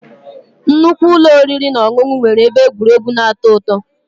Nnukwu ụlọ oriri na ọṅụṅụ nwere ebe egwuregwu na-atọ ụtọ